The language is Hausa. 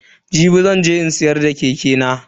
Jibi zan je in siyar da keke nan.